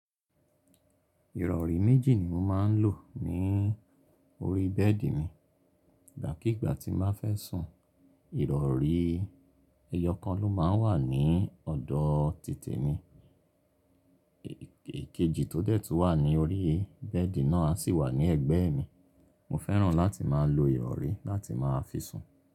Ìrọ̀rí méjì ni mo máa ń lò ní orí bẹ́ẹ̀dì mi. Ìgbàkíigbà tí n bá fẹ́ sùn, ìrọ̀rí ẹyọkan ló máa ń wà ní ọ̀dọ̀ títè mi, ikejì tọ dẹ̀ tun wà ní orí bẹ́ẹ̀dì náà a sì wà ní ẹ̀gbẹ́ mi. Mo fẹ́ràn láti máa lo ìrọ̀rí láti máa fi sùn.